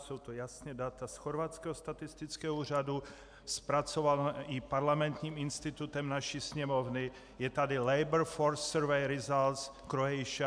Jsou to jasná data z chorvatského statistického úřadu zpracovaná i Parlamentním institutem naší Sněmovny, je tady Labour Force Survey Results Croatia.